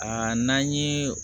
Aa n'an ye